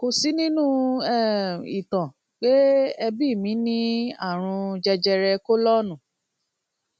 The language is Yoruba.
kò sí nínú um ìtàn pé ẹbí mi ní àrùn jẹjẹrẹ kólọọnù